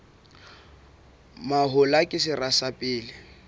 mahola ke sera sa pele